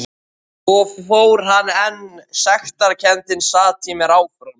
Svo fór hann en sektarkenndin sat í mér áfram.